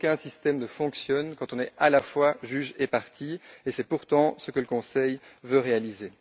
Aucun système ne fonctionne quand on est à la fois juge et partie, et c'est pourtant ce que le Conseil veut réaliser.